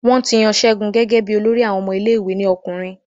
Wọ́n ti yan Ṣeun gẹ́gẹ́ bí olórí àwọn ọmọ ilé ìwé ní ọkùnrin